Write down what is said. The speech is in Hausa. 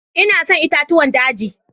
Ina son itatuwan dagi.